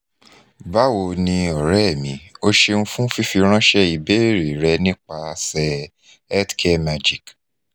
bawo ni ore mi o ṣeun fun fifiranṣẹ ibeere rẹ nipasẹ healthcare magic